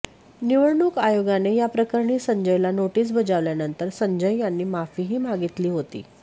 निवडणूक आयोगाने या प्रकरणी संजयला नोटीस बजावल्यानंतर संजय यांनी माफीही मागितली होती